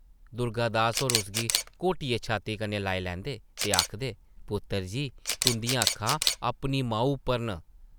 दुर्गा दास होर उसगी घोटियै छाती कन्नै लाई लैंदे ते आखदे, पुत्तर जी, तुंʼदियां अक्खां अपनी माऊ उप्पर न ।